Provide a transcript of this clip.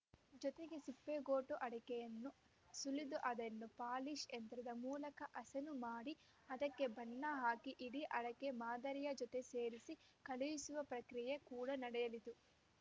ಜೊತೆಗೆ ಸಿಪ್ಪೆಗೋಟು ಅಡಕೆಯನ್ನು ಸುಲಿದು ಅದನ್ನು ಪಾಲೀಶ್‌ ಯಂತ್ರದ ಮೂಲಕ ಹಸನು ಮಾಡಿ ಅದಕ್ಕೆ ಬಣ್ಣ ಹಾಕಿ ಇಡಿಅಡಕೆ ಮಾದರಿಯ ಜೊತೆ ಸೇರಿಸಿ ಕಳುಹಿಸುವ ಪ್ರಕ್ರಿಯೆ ಕೂಡ ನಡೆಯುತ್ತಿದೆ